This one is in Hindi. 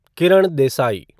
किरण देसाई